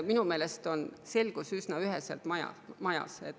Minu meelest on selgus üsna üheselt majas.